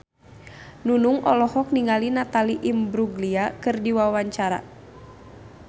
Nunung olohok ningali Natalie Imbruglia keur diwawancara